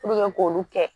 k'olu kɛ